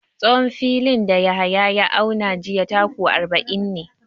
Tsawon filin da Yahaya ya auna jiya taku arba'in ne.